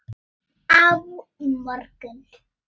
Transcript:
Á morgun.